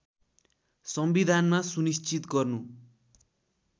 संविधानमा सुनिश्चित गर्नु